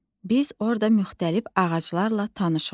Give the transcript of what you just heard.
Biz orada müxtəlif ağaclarla tanış olduq.